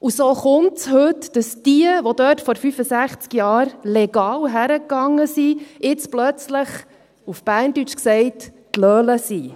Und so kommt es heute, dass diejenigen, die vor 65 Jahren legal dorthin gingen, jetzt plötzlich – auf Berndeutsch gesagt – «d’Löle» sind.